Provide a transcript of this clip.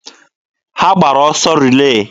Ha gbara ọsọ rilee.